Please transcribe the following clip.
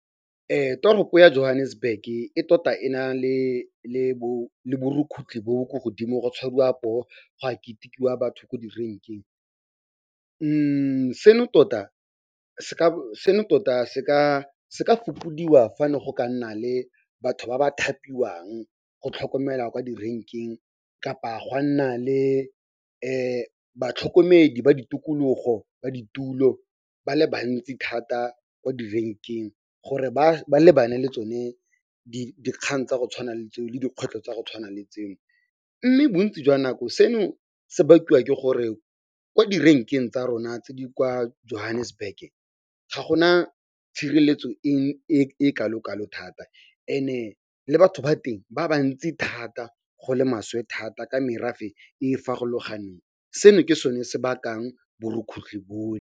Toropo ya Johannesburg-ke e tota e na le bo borukgutlhi bo bo ko godimo go tshwariwa poo, go a ketekiwa batho ko direnkeng. Seno tota se ka fokodiwa fa ne go ka nna le batho ba ba thapiwang go tlhokomela kwa direnkeng kapa go a nna le batlhokomedi ba ditokologo ba ditulo ba le bantsi thata kwa di-rank-eng gore ba lebane le tsone dikgang tsa go tshwana le tseo le dikgwetlho tsa go tshwana le tseo. Mme bontsi jwa nako seno se bakiwa ke gore ko direnkeng tsa rona tse di kwa Johannesburg-ke ga go na tshireletso e kalo-kalo thata and-e le batho ba teng ba ba ntsi thata go le maswe thata ka merafe e e farologaneng. Seno ke sone se bakang borukgutlhi bone.